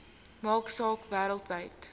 maak saak wêreldwyd